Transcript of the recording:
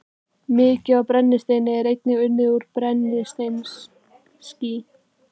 Mikið af brennisteini er einnig unnið úr brennisteinskís.